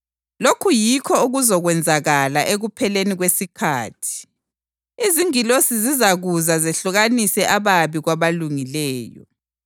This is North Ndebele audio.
Lokhu yikho okuzakwenzakala ekupheleni kwesikhathi. Izingilosi zizakuza zehlukanise ababi kwabalungileyo,